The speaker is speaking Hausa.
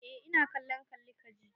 Eh ina kallon kalli ka ji.